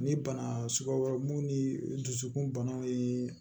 Ni bana suguya wɛrɛw mun ni dusukunbanaw ye